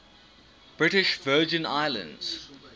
british virgin islands